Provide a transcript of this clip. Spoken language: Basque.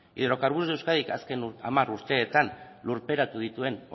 hidrocarburos de euskadi azken hamar urteetan lurperatu dituen